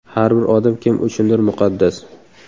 Har bir odam kim uchundir muqaddas .